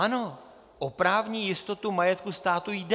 Ano, o právní jistotu majetku státu jde.